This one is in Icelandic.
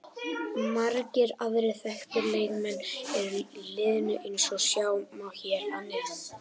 Margir aðrir þekktir leikmenn eru í liðinu eins og sjá má hér að neðan.